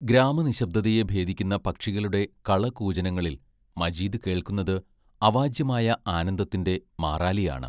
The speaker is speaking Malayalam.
ഗ്രാമനിശ്ശബ്ദതയെ ഭേദിക്കുന്ന പക്ഷികളുടെ കളകൂജനങ്ങളിൽ മജീദ് കേൾക്കുന്നത് അവാച്യമായ ആനന്ദത്തിന്റെ മാറാലിയാണ്.